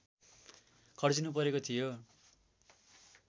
खर्चिनुपरेको थियो